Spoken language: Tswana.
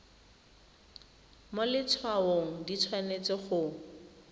mo letshwaong di tshwanetse go